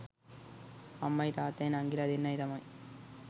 අම්මයි තාත්තයි නංගිලා දෙන්නයි තමයි